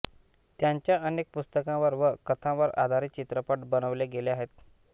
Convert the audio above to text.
त्यांच्या अनेक पुस्तकांवर व कथांवर आधारित चित्रपट बनविले गेले आहेत